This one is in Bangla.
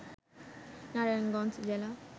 নারায়ণগঞ্জ জেলা